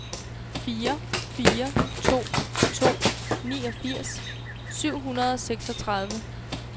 fire fire to to niogfirs syv hundrede og seksogtredive